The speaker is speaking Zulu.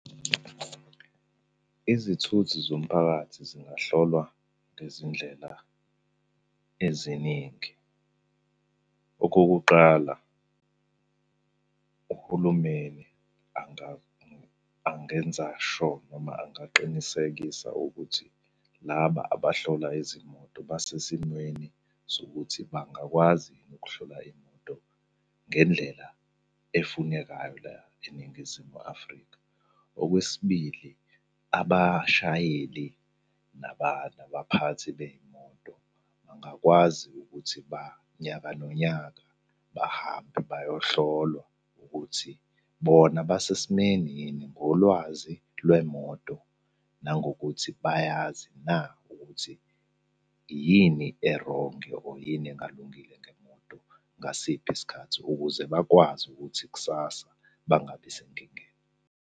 Izithuthi zomphakathi zingahlolwa ngezindlela eziningi. Okokuqala, uhulumeni angenza sho noma angaqinisekisa ukuthi laba abahlola izimoto basesimweni sokuthi bangakwazi yini ukuhlola iy'moto ngendlela efunekayo la eNingizimu Afrika. Okwesibili, abashayeli nabaphathi bey'moto, bangakwazi ukuthi ba nyaka nonyaka bahambe bayohlolwa ukuthi bona basesimeni yini ngolwazi lwemoto, nangokuthi bayazi na ukuthi yini erongi or yini engalungile ngemoto, ngasiphi isikhathi ukuze bakwazi ukuthi kusasa bangabi senkingeni.